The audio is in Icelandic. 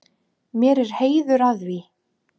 Mér er heiður að því.